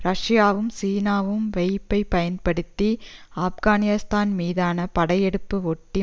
ரஷ்யாவும் சீனாவும் வைப் பயன்படுத்தி ஆப்கானிஸ்தான் மீதான படையெடுப்பை ஒட்டி